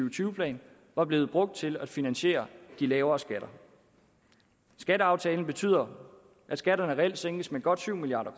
og tyve plan var blevet brugt til at finansiere de lavere skatter skatteaftalen betyder at skatterne reelt sænkes med godt syv milliard